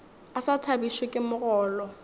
a sa thabišwe ke mogolo